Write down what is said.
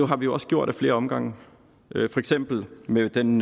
har vi også gjort ad flere omgange for eksempel med den